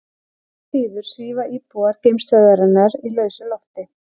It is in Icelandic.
Engu að síður svífa íbúar geimstöðvarinnar í lausu lofti.